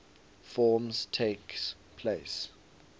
forms takes place